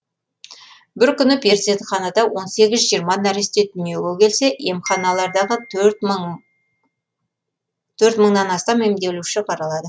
бір күні перзентханада он сегіз жиырма нәресте дүниеге келсе емханалардағы төрт мың мыңнан астам емделуші қаралады